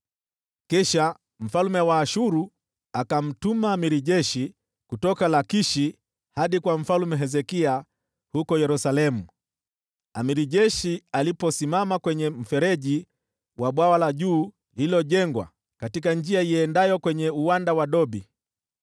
Kisha mfalme wa Ashuru akamtuma jemadari wa jeshi pamoja na jeshi kubwa kutoka Lakishi hadi kwa Mfalme Hezekia huko Yerusalemu. Jemadari wa jeshi akasimama kwenye mfereji wa Bwawa la Juu, lililojengwa katika barabara iendayo kwenye Uwanja wa Dobi.